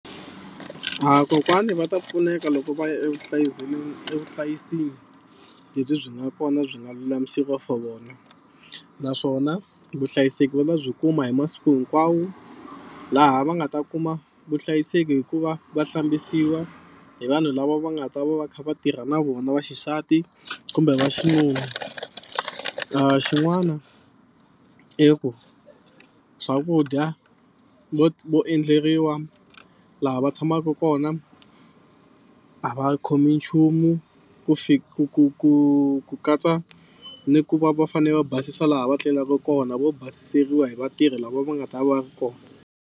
A kokwani va ta pfuneka loko va ya evuhlayiselweni evuhlayisini lebyi byi nga kona byi nga lulamisiwa for vona naswona vuhlayiseki va ta byi kuma hi masiku hinkwawo laha va nga ta kuma vuhlayiseki hi ku va va hlambisiwa hi vanhu lava va nga ta va va kha va tirha na vona va xisati kumbe va xinuna. Xin'wana i ku swakudya vo vo endleriwa laha va tshamaka kona a va khomi nchumu ku ku ku ku ku katsa ni ku va va fanele va basisa laha va tlelaka kona vo basisiwa hi vatirhi lava va nga ta va ri kona.